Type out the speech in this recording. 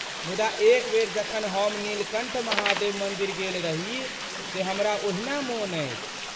मुदा एक बेर जखन हम नीलकण्ठ महादेव मन्दिर गेल रही से हमरा ओहिना मोन अछि।